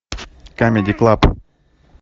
камеди клаб